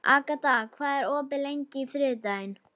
Agata, hvað er opið lengi á þriðjudaginn?